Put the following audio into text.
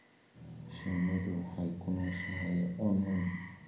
Shinnidu waxay ku nooshahay cuncun.